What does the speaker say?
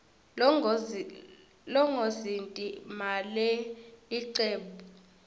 longozinti malelicebnbu uyatiwa